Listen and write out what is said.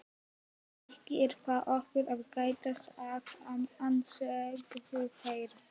Ekki er það okkar að gæta sakamanna, sögðu þeir.